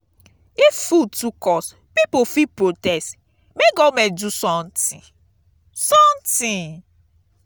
if food too cost pipo fit protest make government do something. something.